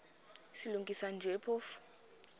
silungisa nje phofu